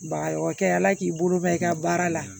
Ba o kɛ ala k'i bolo bɛ i ka baara la